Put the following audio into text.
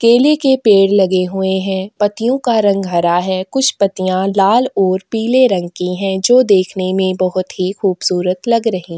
केले के पेड़ लगे हुए हैं पत्तियों का रंग हरा है कुछ पत्तियाँ लाल और पीले रंग की हैं जो देखने में बहोत ही खूबसूरत लग रही --